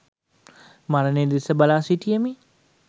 මරණය දෙස බලා සිටියෙමි.